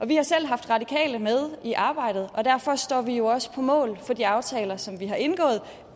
vi har selv haft radikale med i arbejdet og derfor står vi jo også på mål for de aftaler som vi har indgået